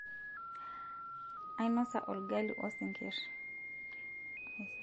ainosa olgali osingirr